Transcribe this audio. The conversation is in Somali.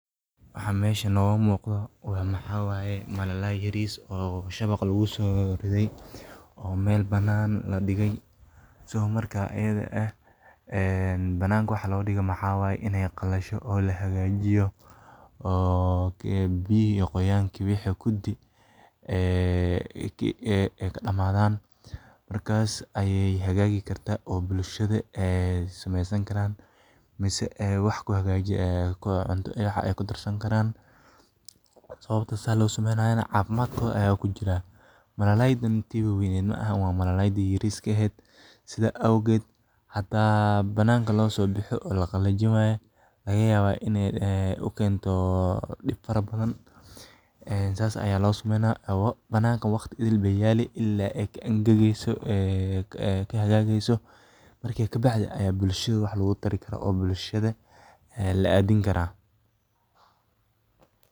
Waxa muuqata waa malay yar oo shabaq lagu soo riday oo meel bannaan la dhigay. Waxa loo dhigay waa inay qalasho, biyo iyo qoyaan ka dhammaadaan, markaasna la hagaajin karo oo bulshada sameysan karto cunto lagu darsan karo. Waxa loo sameeyay caafimaadkooda ku jira. Malayga waa weyn ma aha, tii yaryar bay tahay. Hadda la qalajinayo, waana laga yaabaa inay dib badan keento, waqti badan bay yaalliin bannanka ilaa ay ka qalasho. Bulshada loogu tala galay oo la siin karo.